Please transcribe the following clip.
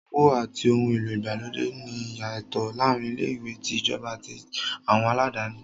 Owó àti ohun èlò ìgbàlódé ní ìyàtọ̀ láàárín ilé-ìwé tí ìjọba àti àwọn aládáni.